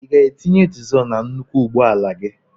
I ga-etinye dịzul na nnukwu ụgbọala gị?